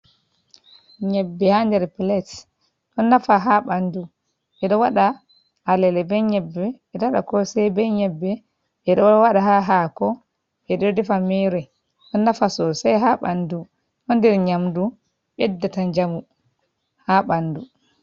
Nyebbe ha nder plet. Ɗo nafa ha ɓandu. Ɓeɗo wada alele be nyebbe, ɓeɗo waɗa kosai be nyebbe, ɓeɗo waɗa ha hako, ɓeɗo defa mere. Ɗon nafa sosai ha ɓandu. Ɗo nder nyamdu ɓeddata jamu ha ɓandu.